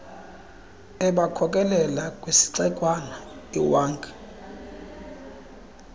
ebakhokelela kwisixekwana iwankie